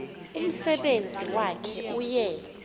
umsebenzi wakhe uye